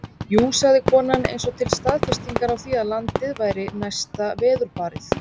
Jú, sagði konan eins og til staðfestingar á því að landið væri næsta veðurbarið.